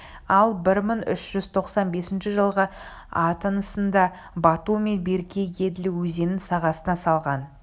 ал бір мың үш жүз тоқсан бесінші жылғы аттанысында бату мен берке еділ өзенінің сағасына салған